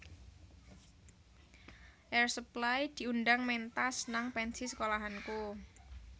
Air Supply diundang mentas nang pensi sekolahanku